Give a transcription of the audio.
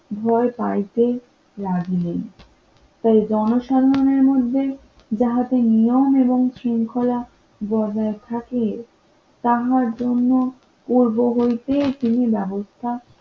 ভয় পাইতে রাজি নেই তাই জনসম্মানের মধ্যে যাহাতে নিয়ম এবং শৃঙ্খলা বজায় থাকে তাহার জন্য পূর্ব হইতে তিনি ব্যবস্থা